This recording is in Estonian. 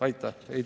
Aitäh!